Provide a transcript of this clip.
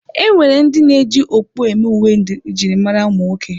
E nwere ndị na-eji okpu eme uwe njirimara ụmụ nwoke.